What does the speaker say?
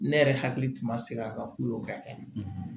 Ne yɛrɛ hakili tuma sera a kan ku ka kɛ